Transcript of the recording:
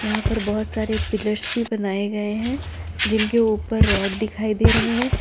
यहां पर बहुत सारे पिलर भी बनाए गए हैं जिनके ऊपर रॉड दिखाई दे रहे हैं।